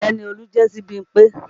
Ọrẹ ni Olú jẹ́ sí Bímpé